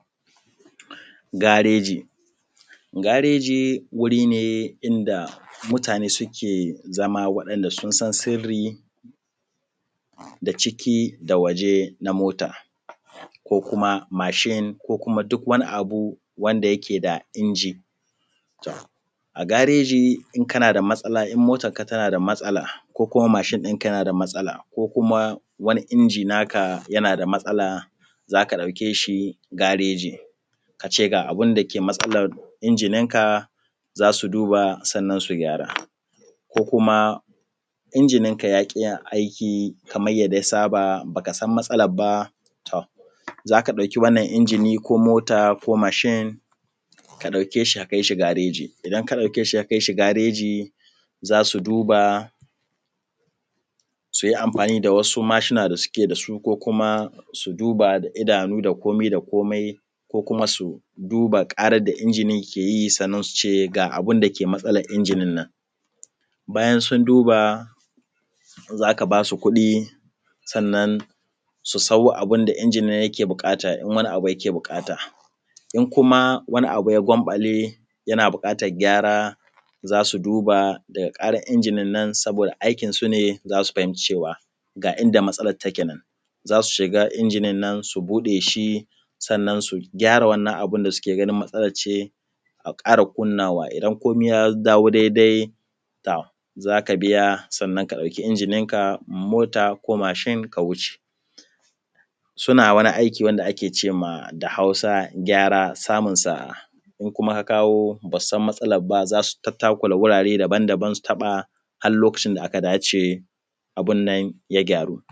Gareji gareji wuri ne inda mutane suke zama waɗanda sun san sirri na da ciki da waje na moto ko kuma mashin ko kuma duk wani abu wanda yake da inji, to a gareji in motonka yana da matsala ko kuma masin ɗinka yana da matsala ko kuma wani inji naka yana da matsala za ka ɗauke shi zuwa gareji ka ce abin da ke matsalan injin ɗinka, za su duba sannan su gyara ko kuma injin ɗinka yaƙi yin aiki kamar yanda ya saba ba ka san matsalan ba. To, za ka ɗauki wannan injini ko mota, mashin ka ɗauke shi ka kai shi gareji in ka ɗauke shi ka kai shi gareji za su duba su yi amfani da wasu mashina da suke da su ko kuma su duba da idanu da kumai da kumai ko kuma su duba ƙaran da inji nan yake, sannan su ce ga abin da ke matsalan injin nan. Bayan sun duba za ka ba su kuɗi sannan su sayo abin da injin nan ke buƙata in wani abu yake buƙata, in kuma wani abu ya gwanbale yana buƙatan gyara za su duba injinan nan saboda aikin su ne za su fahinci cewa ga inda matsalan take, nan za su shiga injinannan su buɗe shi sannan su gyara abun da suke ganin matsalance a ƙara kunnawa idan komai ya dawo daidai za ka biya, sannan ka ɗauki injininka. Mota ko mashin suna wani aiki wanda ake ce ma a Hausa gyara samun sa’a ko kuma a kawo ba su san matsalan ba su takura wurare daban-daban har lokacin da aka dace abun nan ya gyaru.